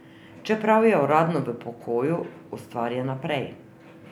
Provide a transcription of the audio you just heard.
Čeprav je uradno v pokoju, ustvarja naprej.